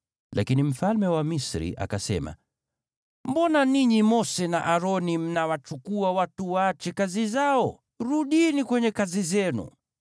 Lakini mfalme wa Misri akasema, “Mbona ninyi Mose na Aroni mnawachukua watu waache kazi zao? Rudini kwenye kazi zenu!”